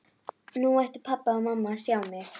Nú ættu pabbi og mamma að sjá mig!